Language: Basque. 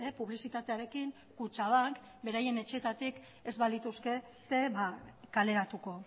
publizitatearekin kutxabank beraien etxeetatik ez balituzkete kaleratuko